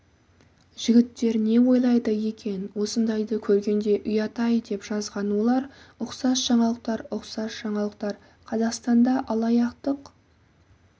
жігіттер не ойлайды екен осындайды көргенде ұят-ай деп жазған олар ұқсас жаңалықтар ұқсас жаңалықтар қазақстанда алаяқтық